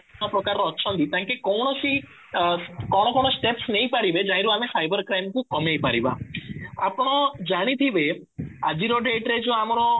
ପ୍ରକାରର ଅଛନ୍ତି ତାଙ୍କେ କୌଣସି ଅଂ କଣ କଣ steps ନେଇପାରିବେ ଆମେ ସାଇବର କ୍ରାଇମ କୁ କମେଇପାରିବା ଆପଣ ଜାଣିଥିବେ ଆଜିର date ରେ ଯୋଉ ଆମର